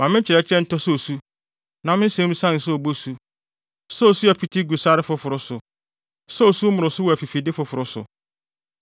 Ma me nkyerɛkyerɛ ntɔ sɛ osu; na me nsɛm nsian sɛ obosu, sɛ osu a ɛpete gu sare foforo so, sɛ osu mmoroso wɔ afifide foforo so.